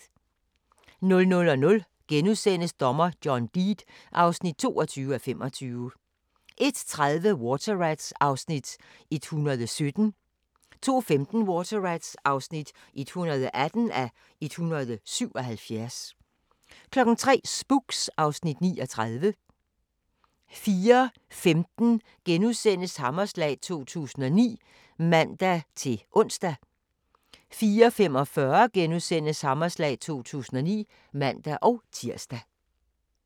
00:00: Dommer John Deed (22:25)* 01:30: Water Rats (117:177) 02:15: Water Rats (118:177) 03:00: Spooks (Afs. 39) 04:15: Hammerslag 2009 *(man-ons) 04:45: Hammerslag 2009 *(man-tir)